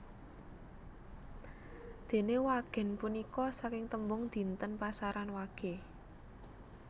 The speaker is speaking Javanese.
Dene wagèn punika saking tembung dinten pasaran wage